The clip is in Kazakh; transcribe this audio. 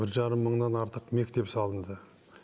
бір жарым мыңнан артық мектеп салынды